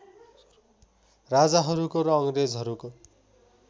राजाहरूको र अङ्ग्रेजहरूको